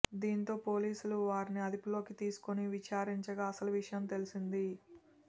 దీంతో పోలీసులు వారిని అదుపులోకి తీసుకుని విచారించగా అసలు విషయం తెలిసింది